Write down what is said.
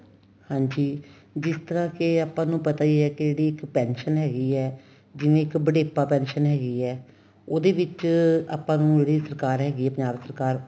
ਹਾਂਜੀ ਜਿਸ ਤਰ੍ਹਾਂ ਕੇ ਆਪਾਂ ਨੂੰ ਪਤਾ ਈ ਏ ਕੇ ਦੀਦੀ ਇੱਕ pension ਹੈਗੀ ਏ ਜਿਵੇਂ ਇੱਕ ਬੁਢੇਪਾ pension ਹੈਗੀ ਏ ਉਹਦੇ ਵਿੱਚ ਆਪਾਂ ਨੂੰ ਜਿਹੜੀ ਸਰਕਾਰ ਹੈਗੀ ਏ ਪੰਜਾਬ ਸਰਕਾਰ